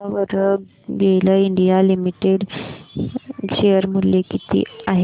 सांगा बरं GAIL India limited share मूल्य किती आहे